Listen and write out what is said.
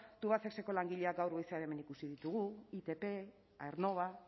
tubacexeko langileak gaur goizean hemen ikusi ditugu itp aernnova